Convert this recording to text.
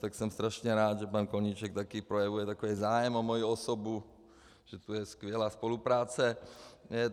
Tak jsem strašně rád, že pan Koníček taky projevuje takový zájem o moji osobu, že to je skvělá spolupráce.